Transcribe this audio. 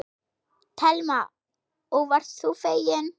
Telma: Og varst þú feginn?